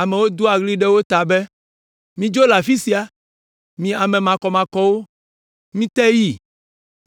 Amewo doa ɣli ɖe wo ta be, “Midzo le afi sia! Mi ame makɔmakɔwo! Mite yi!